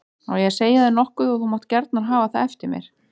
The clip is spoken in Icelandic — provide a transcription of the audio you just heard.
Á ég að segja þér nokkuð og þú mátt gjarna hafa það eftir mér.